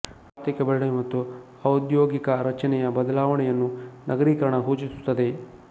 ಆರ್ಥಿಕ ಬೆಳವಣಿಗೆ ಮತ್ತು ಔದ್ಯೋಗಿಕ ರಚನೆಯ ಬದಲಾವಣೆಯನ್ನು ನಗರೀಕರಣ ಸೂಚಿಸುತ್ತದೆ